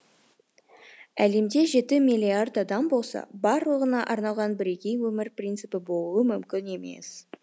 әлемде жеті миллиард адам болса барлығына арналған бірегей өмір принципі болуы мүмкін емес